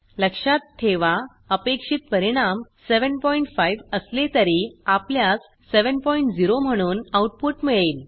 लक्षात ठेवा अपेक्षित परिणाम 75 असले तरी आपल्यास 70 म्हणून आउटपुट मिळेल